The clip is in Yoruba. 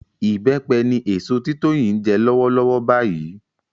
Ìbẹ́pẹ ni èso tí Tóyìn ń jẹ lọ́wọ́lọ́wọ́ báyìí